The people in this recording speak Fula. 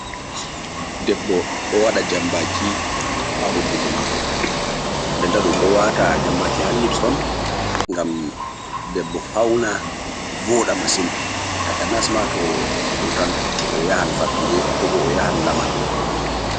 Debbo ɗo waɗa jambaaki ha hunduko maako, ndenta ɗum ɗo waata jambaaki ha liips on ngam debbo fawna vooɗa masin, takanas ma to vurtan o yahan fattude ko bo o yahan lamar.